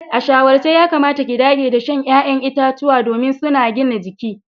A shawarce yakamata ki dage da shan ya'yan itacuwa domin suna gina jiki.